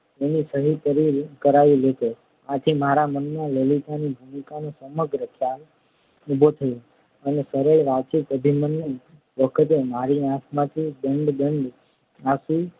એની સહી કરાવી લેતો આથી મારા મનમાં લલિતા ની ભૂમિકાનો સમગ્ર ખ્યાલ ઊભો થયો અને સરળ વાચિક અભિનય વખતે મારી આંખમાંથી દડ દડ આંસુ